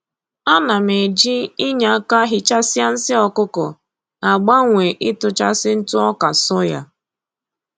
A na m eji inye aka hichasịa nsị ọkụkọ agbanwe ịtụchasị ntụ ọka soya